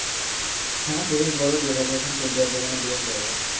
হ্যাঁ বেশ বড় দের হাজার খান ফল্টি আটবে মানি বেশ বড়।